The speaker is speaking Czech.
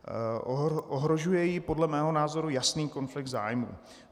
Ohrožuje ji podle mého názoru jasný konflikt zájmů.